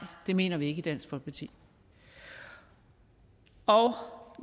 det mener vi ikke i dansk folkeparti og